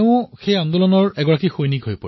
সেই আন্দোলনৰ চিপাহীলৈ পৰিৱৰ্তিত হয়